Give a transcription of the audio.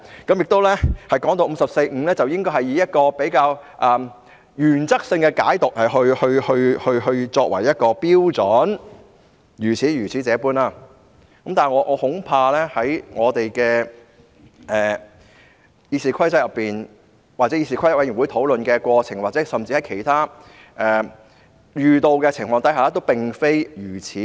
他亦說大家應原則性地解讀《議事規則》第545條，但我恐怕在《議事規則》內或議事規則委員會討論的過程中，甚至是其他遇到的情況下，亦並非如此。